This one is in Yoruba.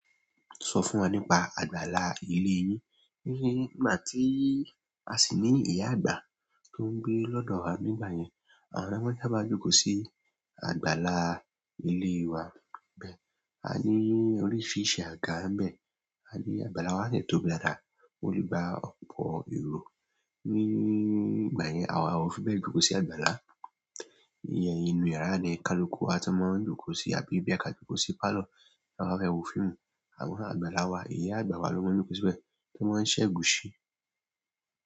Sọ fún wa nípa àgbàlá ilé yín. Nígbà tí a sì ní ìyá àgbà tó ń gbé lọ́dọ̀ wa nígbà yẹn, àwọn maa n sabá jókòó sí àgbàlá ilé wa bẹ́ẹ̀, a ní oríṣiríṣi àga níbẹ̀. A ní àgbàlá wa de tóbi lára, ó le gba ọ̀pọ̀ èrò. Nígbà yẹn àwa ò fi bẹ́ẹ̀ jókòó sí àgbàlá. Iyẹn inú yàrá ni, kaluku a ti máa ń jókòó sí àbí boya ka jókòó sí parlour tí a bá fẹ́ wo fíìmù. A mo àgbàlá wa, ìyá àgbà lo màá n jókòó síbẹ̀, to màá n segusi.